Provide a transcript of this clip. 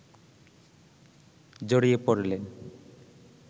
জড়িয়ে পড়লেন